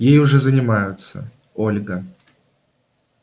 ей уже занимаются ольга